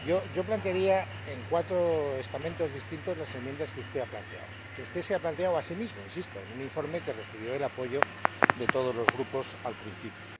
Yo dividiría en cuatro estamentos distintos las enmiendas que usted ha planteado, que usted se ha planteado a sí mismo —insisto— en un informe que recibió el apoyo de todos los grupos al principio.